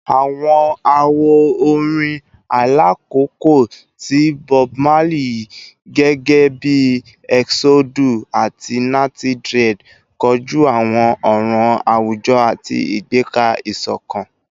Awọn awo-orin ailakoko ti Bob Marley gẹgẹbi “Eksodu” ati “Natty Dread” koju awọn ọran awujọ ati igbega isokan